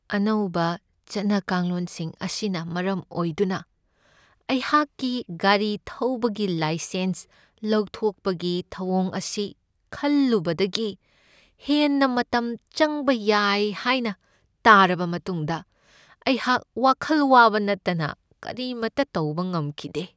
ꯑꯅꯧꯕ ꯆꯠꯅ ꯀꯥꯡꯂꯣꯟꯁꯤꯡ ꯑꯁꯤꯅ ꯃꯔꯝ ꯑꯣꯏꯗꯨꯅ ꯑꯩꯍꯥꯛꯀꯤ ꯒꯥꯔꯤ ꯊꯧꯕꯒꯤ ꯂꯥꯏꯁꯦꯟꯁ ꯂꯧꯊꯣꯛꯄꯒꯤ ꯊꯧꯑꯣꯡ ꯑꯁꯤ ꯈꯜꯂꯨꯕꯗꯒꯤ ꯍꯦꯟꯅ ꯃꯇꯝ ꯆꯪꯕ ꯌꯥꯏ ꯍꯥꯏꯅ ꯇꯥꯔꯕ ꯃꯇꯨꯡꯗ ꯑꯩꯍꯥꯛ ꯋꯥꯈꯜ ꯋꯥꯕ ꯅꯠꯇꯅ ꯀꯔꯤꯃꯇ ꯇꯧꯕ ꯉꯝꯈꯤꯗꯦ ꯫